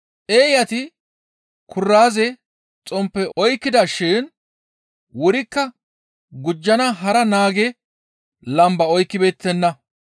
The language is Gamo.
Eeyati kuraaze, xomppe oykkida shin wurikko gujjana hara naage lamba oykkibeettenna.